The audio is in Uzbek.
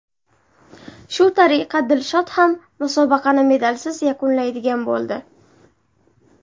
Shu tariqa Dilshod ham musobaqani medalsiz yakunlaydigan bo‘ldi.